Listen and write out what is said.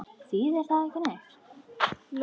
Þýðir það ekki neitt?